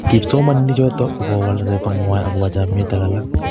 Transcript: Kipsomanik chotok ko kowal atepto ngwai akobo chomiet ak alak